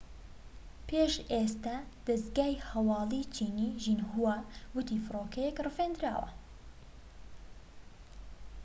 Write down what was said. پێش ئێستا دەزگای هەواڵیی چینی ژینهوا وتی فڕۆکەیەك ڕفێندراوە